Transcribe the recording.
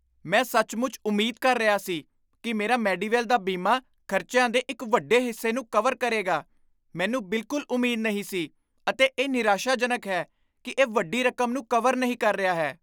ਮੈਂ ਸੱਚਮੁੱਚ ਉਮੀਦ ਕਰ ਰਿਹਾ ਸੀ ਕਿ ਮੇਰਾ ਮੇਡੀਵੈਲ ਦਾ ਬੀਮਾ ਖਰਚਿਆਂ ਦੇ ਇੱਕ ਵੱਡੇ ਹਿੱਸੇ ਨੂੰ ਕਵਰ ਕਰੇਗਾ। ਮੈਨੂੰ ਬਿਲਕੁਲ ਉਮੀਦ ਨਹੀਂ ਸੀ ਅਤੇ ਇਹ ਨਿਰਾਸ਼ਾਜਨਕ ਹੈ ਕਿ ਇਹ ਵੱਡੀ ਰਕਮ ਨੂੰ ਕਵਰ ਨਹੀਂ ਕਰ ਰਿਹਾ ਹੈ।